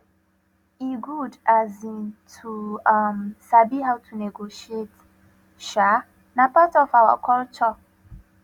e good um to um sabi how to negotiate um na part of our culture